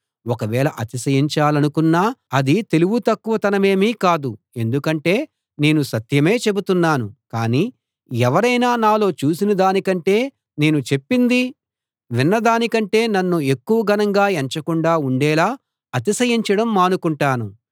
ఒకవేళ అతిశయించాలనుకొన్నా అది తెలివి తక్కువతనమేమీ కాదు ఎందుకంటే నేను సత్యమే చెబుతున్నాను కానీ ఎవరైనా నాలో చూసినదాని కంటే నేను చెప్పింది విన్నదాని కంటే నన్ను ఎక్కువ ఘనంగా ఎంచకుండా ఉండేలా అతిశయించడం మానుకుంటాను